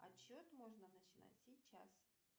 отсчет можно начинать сейчас